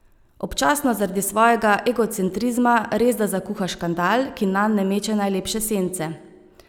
Občasno zaradi svojega egocentrizma resda zakuha škandal, ki nanj ne meče najlepše sence.